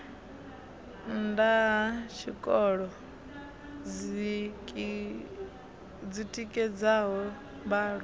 nnda ha tshikolo dzitikedzaho mbalo